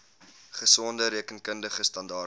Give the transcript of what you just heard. gesonde rekenkundige standaarde